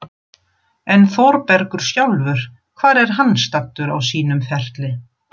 En Þórbergur sjálfur, hvar er hann staddur á sínum ferli?